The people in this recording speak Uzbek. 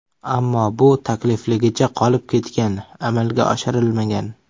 Ammo bu taklifligicha qolib ketgan, amalga oshirilmagan.